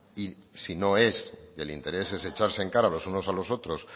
y si no es el interés es echarse en cara los unos a los otros